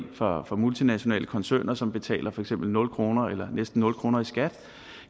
fra multinationale koncerner som betaler for eksempel nul kroner eller næsten nul kroner